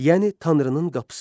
Yəni tanrının qapısı.